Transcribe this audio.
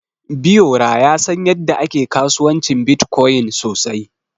Biyora ya san yadda ake kasuwancin Bitcoin sosai.